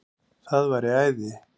Það væri æði